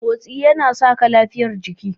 Motsi yana saka lafiyar jiki.